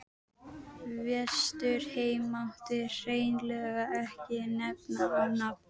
Vesturheim mátti hreinlega ekki nefna á nafn.